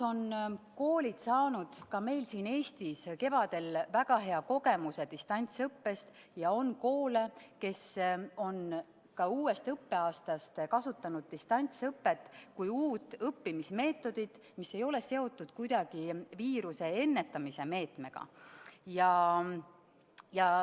Koolid said meil siin Eestis kevadel väga hea distantsõppe kogemuse, ja osa koole on ka uuel õppeaastal kasutanud distantsõpet kui uut õppimismeetodit, ja see ei ole kuidagi seotud viiruse ennetamise meetmega.